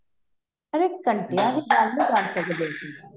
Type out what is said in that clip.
ਘੰਟਈਆਂ ਦੀ ਨਹੀਂ ਗੱਲ ਕਰ ਸਕਦੇ ਅਸੀਂ